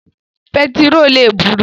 Pẹtiró le buru.